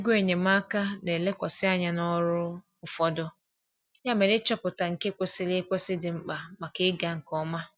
Ego enyemaka na-elekwasị anya n’ọrụ ụfọdụ, ya mere ịchọpụta nke kwesịrị ekwesị dị mkpa maka ịga nke ọma.